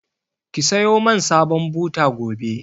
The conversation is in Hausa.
Ki sayo man sabon buta gobe!